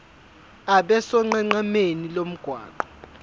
abe sonqenqemeni lomgwaqo